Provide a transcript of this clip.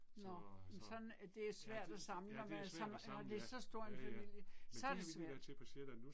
Nåh men sådan det er svært at samle når man er sådan når det er så stor en familie, så er det svært